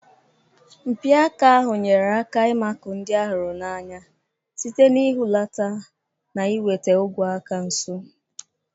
Mpi aka ahụ nyere aka ịmakụ ndị a hụrụ n'anya site n'ihulata na iweta ogwe aka nso.